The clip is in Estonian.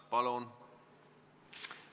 Palun!